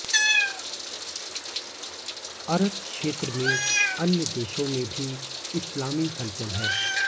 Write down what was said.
अरब क्षेत्र में अन्य देशों में भी इस्लामी हलचल है